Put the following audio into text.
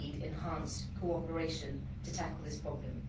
We need enhanced cooperation to tackle this problem.